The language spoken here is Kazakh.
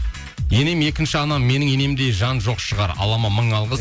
енем екінші анам менің енемдей жан жоқ шығар аллама мың алғыс